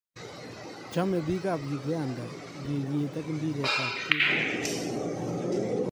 Choemi biik ab Uganda urerie ak mpiret ab kelto.